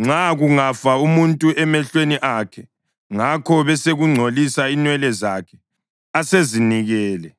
Nxa kungafa umuntu emehlweni akhe, ngakho besekungcolisa inwele zakhe asezinikele,